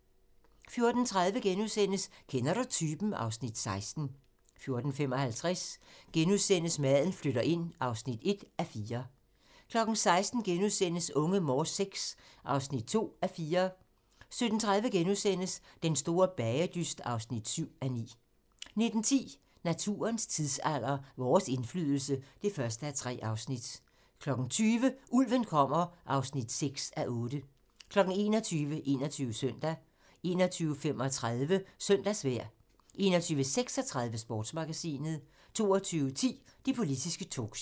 14:30: Kender du typen? (Afs. 16)* 14:55: Maden flytter ind (1:4)* 16:00: Unge Morse VI (2:4)* 17:30: Den store bagedyst (7:9)* 19:10: Naturens tidsalder - Vores indflydelse (1:3) 20:00: Ulven kommer (6:8) 21:00: 21 Søndag 21:35: Søndagsvejr 21:36: Sportsmagasinet 22:10: Det politiske talkshow